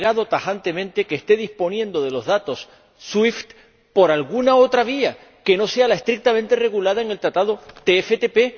no ha negado tajantemente que esté disponiendo de los datos SWIFT por alguna otra vía que no sea la estrictamente regulada en el Acuerdo TFTP.